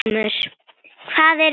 Hvað eruði að gera?